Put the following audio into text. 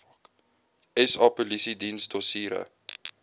sa polisiediens dossiere